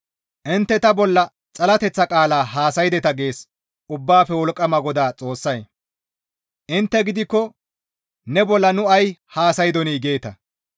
«Intte ta bolla xalateththa qaala haasaydeta» gees Ubbaafe Wolqqama GODAA Xoossay. «Intte gidikko, ‹Ne bolla nu ay haasaydonii?› geeta.